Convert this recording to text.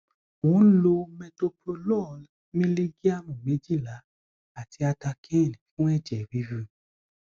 mò ń lo metoprolol mílígíáàmù méjìlá àti atacane fún ẹjẹ rírun